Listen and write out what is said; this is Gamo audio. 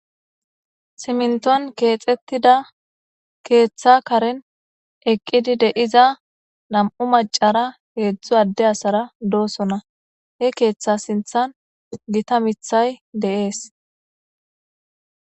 siminton keexettida keeththa karen eqqidi deiza nam7u macara keedzdzu adde asara doosona he keeththa sinthan gita mithay de7ees